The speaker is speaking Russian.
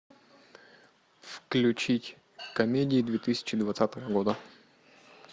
включить комедии две тысячи двадцатого года